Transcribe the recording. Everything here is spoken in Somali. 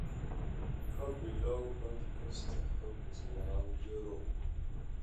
ka bilow podcast hoogtii walaal jero